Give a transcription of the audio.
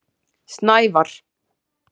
Snævar